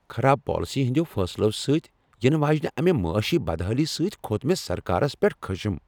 خراب پالیسی ہٕنٛدیو فیصلو سۭتۍ ینہٕ واجنہ امہ معٲشی بدحٲلی سۭتۍ کھوٚت مےٚ سرکارس پیٹھ خشم۔